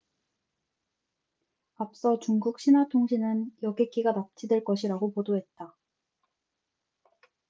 앞서 중국 신화통신은 여객기가 납치될 것이라고 보도했다